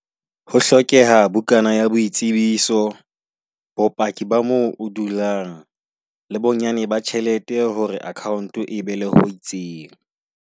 Ho hlokeha bukana ya boitsebiso. Bopaki ba mo o dulang, le bonyane ba tjhelete hore account-o e be le ho itseng.